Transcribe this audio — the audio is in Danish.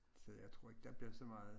Så jeg tror ikke der bliver så meget